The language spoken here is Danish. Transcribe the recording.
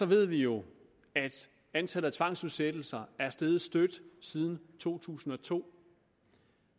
ved vi jo at antallet af tvangsudsættelser er steget støt siden to tusind og to